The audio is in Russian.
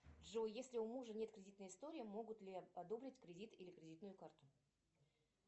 джой если у мужа нет кредитной истории могут ли одобрить кредит или кредитную карту